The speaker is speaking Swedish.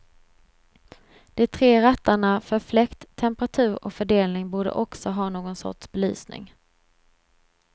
De tre rattarna för fläkt, temperatur och fördelning borde också ha någon sorts belysning.